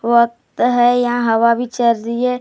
वक्त है यहाँ हवा भी चल रही है।